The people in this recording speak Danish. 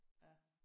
Ja